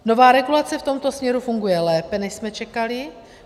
Nová regulace v tomto směru funguje lépe, než jsme čekali.